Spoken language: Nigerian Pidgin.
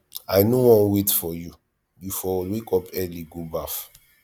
i no wan wait for you you for wake up early go baff